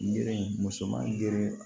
Gere musoman geren